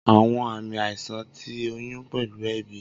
Awọn aami aisan ti oyun pẹlu eebi.